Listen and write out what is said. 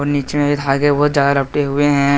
नीचे में धागे बहुत ज्यादा लपटें हुए हैं।